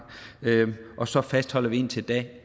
og så fastholder vi indtil da